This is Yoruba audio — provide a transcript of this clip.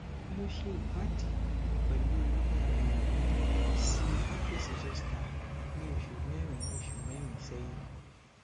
mo se iwadi pelu um esi herpes zoster ni osu merin osu merin sehin